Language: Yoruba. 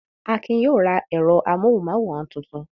Akin yóò ra ẹ̀rọ amóhùmáwòhán tuntun!